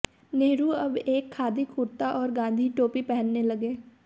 नेहरु अब एक खादी कुर्ता और गाँधी टोपी पहनने लगे